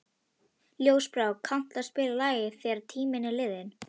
Ljósbrá, kanntu að spila lagið „Þegar tíminn er liðinn“?